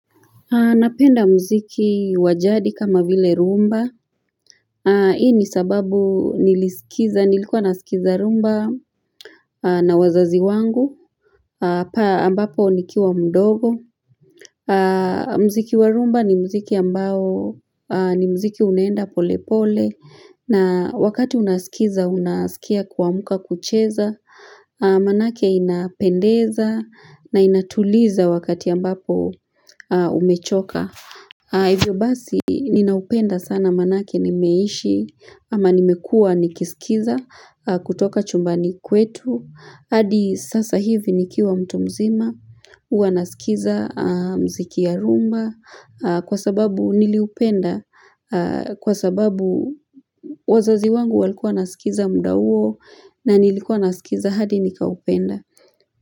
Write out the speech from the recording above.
Napenda mziki wa jadi kama vile rumba hii ni sababu nilisikiza nilikuwa nasikiza rumba na wazazi wangu ambapo nikiwa mdogo mziki wa rumba ni mziki ambao ni mziki unaenda pole pole na wakati unasikiza unasikia kuamka kucheza Manake inapendeza na inatuliza wakati ambapo umechoka Hivyo basi ninaupenda sana manake nimeishi ama nimekua nikisikiza kutoka chumbani kwetu hadi sasa hivi nikiwa mtu mzima huwa nasikiza mziki ya rumba kwa sababu niliupenda kwa sababu wazazi wangu walikuwa wanasikiza muda huo na nilikuwa nasikiza hadi nikaupenda.